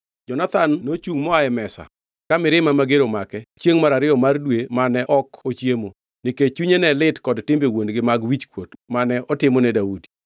Jonathan nochungʼ moa e mesa ka mirima mager omake chiengʼ mar ariyo mar dwe mane ok ochiemo, nikech chunye ne lit kod timbe wuon-gi mag wichkuot mane otimone Daudi.